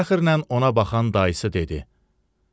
Fəxrlə ona baxan dayısı dedi: